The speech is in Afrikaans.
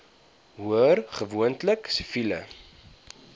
hoor gewoonlik siviele